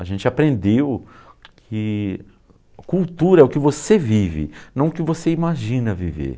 A gente aprendeu que cultura é o que você vive, não o que você imagina viver.